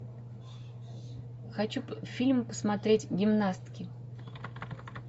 хочу фильм посмотреть гимнастки